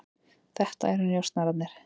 Þetta eru njósnararnir.